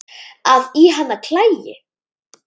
að í hana klæi